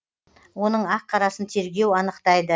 оның ақ қарасын тергеу анықтайды